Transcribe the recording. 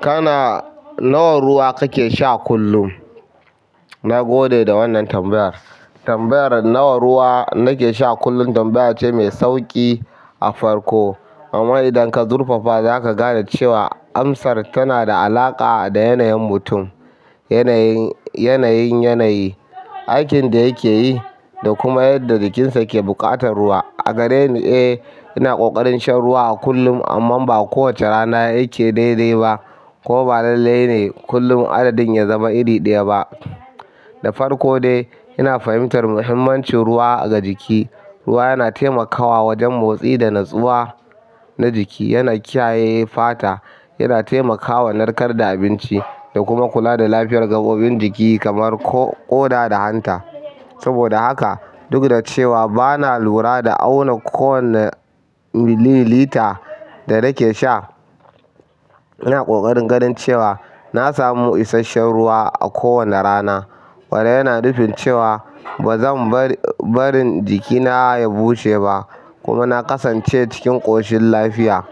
Kana nawa ruwa kake sha kullum? Na gode da wannan tambayar. Tambayar nawa ruwa nake sha kullum tambaya ce mai sauƙi a farko, amma idan ka zurfafa, zaka ga cewa amsar tana da alaƙa da yanayin mutum, yanayin, yanayin yanayi, aikin da yake yi da kuma yadda jikinsa ke buƙatar ruwa. A gareni, eh, ina ƙoƙarin shan ruwa a kullum, amma ba kowace rana yake daidai ba, ko ba lalle ne kullum adadin ya zama iri ɗaya ba. Da farko dai ina fahimtar muhimmancin ruwa ga jiki ruwa yana taimakawa wajen motsi da natsuwa najiki yana kiyaye fata yana taimakawa nakar da abinci da kuma kula da lafiyar gaɓoɓin jiki kamar ko ƙoda ko hanta saboda haka, duk da cewa ba na lura da auna kowane mililita da nake sha, ina ƙoƙarin ganin cewa na samu isasshen ruwa a kowane rana. Wanda yana nufin cewa bazan bar barin jikina ya bushe ba kuma na kasan ce cikin ƙoshin lafiya.